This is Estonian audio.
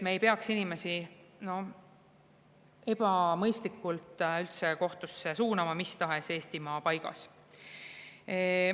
Me ei peaks inimesi ebamõistlikult kohtusse suunama mis tahes Eestimaa paigas.